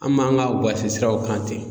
An m'an ka siraw kan ten.